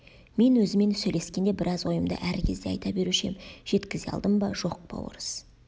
мен өзімен сөйлескенде бір ойымды әр кезде айта беруші ем жеткізе алдым ба жоқ па орыс